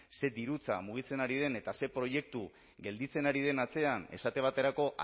ze dirutza mugitzen ari den eta ze proiektu gelditzen ari den atzean esate baterako